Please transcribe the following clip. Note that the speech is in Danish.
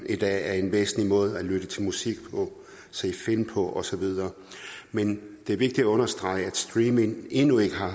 i dag en væsentlig måde at lytte til musik på se film på og så videre men det er vigtigt at understrege at streaming endnu ikke